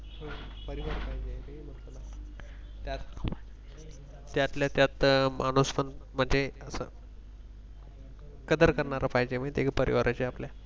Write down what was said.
त्यात त्यातल्या त्यात माणूसपण म्हणजे कदर करणारा पाहिजे म्हणजे परिवाराचे आपल्या